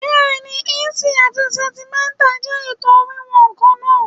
Bẹ́ẹ̀ni, ìǹṣì àti sẹ̀ǹtímítà jẹ́ ètò wíwọ̀n kan náà.